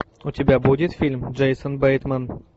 у тебя будет фильм джейсон бейтман